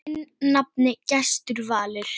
Þinn nafni, Gestur Valur.